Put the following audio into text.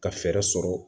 Ka fɛɛrɛ sɔrɔ